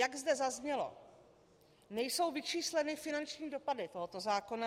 Jak zde zaznělo, nejsou vyčísleny finanční dopady tohoto zákona.